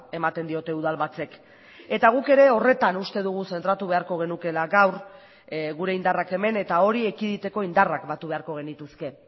ematen diote udalbatzek eta guk ere horretan uste dugu zentratu beharko genukeela gaur gure indarrak hemen eta hori ekiditeko indarrak batu beharko genituzke